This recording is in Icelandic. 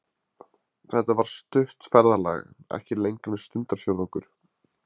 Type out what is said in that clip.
Þetta var stutt ferðalag, ekki lengra en stundarfjórðungur.